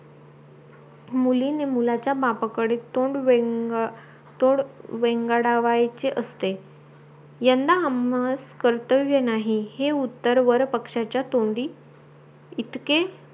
मुलींने मुलाचे बापाकडे तोंड वेंग तोंड वेंगवाडयाचे असते यंदा आम्हास कर्तव्य नाही हे उत्तर वर पक्ष्याचा तोंडी इतके